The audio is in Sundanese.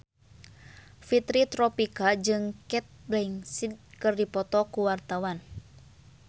Fitri Tropika jeung Cate Blanchett keur dipoto ku wartawan